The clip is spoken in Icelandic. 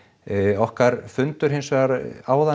okkar fundur hins vegar áðan